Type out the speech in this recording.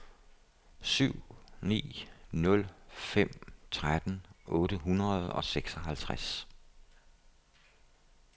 syv ni nul fem tretten otte hundrede og seksoghalvtreds